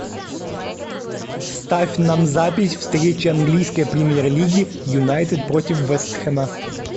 ставь нам запись встречи английской премьер лиги юнайтед против вест хэма